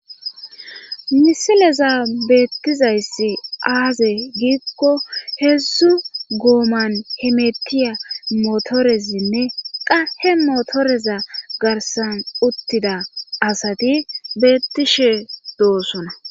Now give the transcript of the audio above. Misileza beettizayssi aaze giikko heedzdzu gooman hemetiya motoresinne qahe motoreza garsan uttida asati beettishe doosona